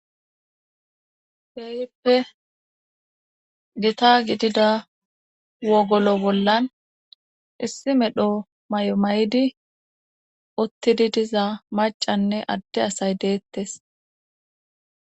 Heeyippe gita gidida wogolo bollan issi medho may7o may7di uttidi diza macanne adde asay deettes